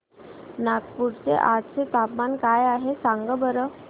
नागपूर चे आज चे तापमान काय आहे सांगा बरं